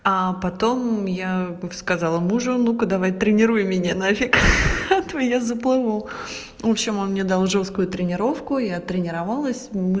а потом я сказала мужу ну-ка давай-ка тренируй меня на фиг от меня заблокировал в общем он мне должен свою тренировку и от тренировалась и